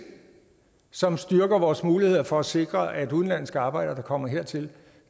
som styrker vores mulighed for at sikre at udenlandske arbejdere der kommer hertil